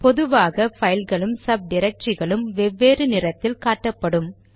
பொதுவாக பைல்களும் சப் டிரக்டரிகளும் வெவ்வேறு நிறத்தில் காட்டப்படும்